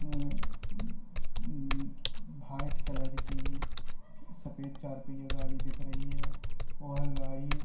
white colour की सफ़ेद चार पहिया गाड़ी दिख रही है वह गाड़ी --